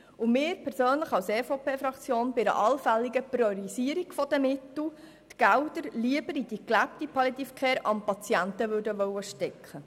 Bei einer allfälligen Priorisierung der Mittel möchten wir die Gelder lieber in die gelebte Palliative Care am Patienten stecken.